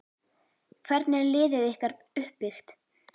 Hvernig er liðið ykkar uppbyggt?